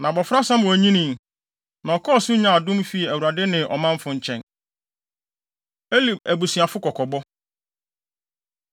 Na abofra Samuel nyinii, na ɔkɔɔ so nyaa adom fii Awurade ne ɔmanfo nkyɛn. Eli Abusuafo Kɔkɔbɔ